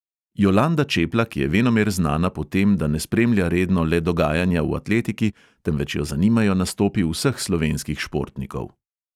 Jolanda čeplak je venomer znana po tem, da ne spremlja redno le dogajanja v atletiki, temveč jo zanimajo nastopi vseh slovenskih športnikov.